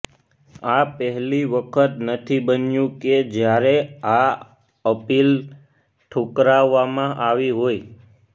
આ પહેલી વખત નથી બન્યું કે જ્યારે આ અપીલ ઠુકરાવામાં આવી હોય